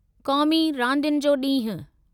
क़ौमी रांदियुनि जो ॾींहुं